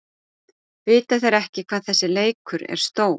Vita þeir ekki hvað þessi leikur er stór?